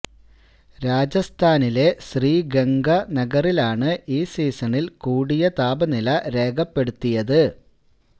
രാജസ്ഥാനിലെ ശ്രീ ഗംഗ നഗറിലാണ് ഈ സീസണില് കൂടിയ താപനില രേഖപ്പെടുത്തിയത്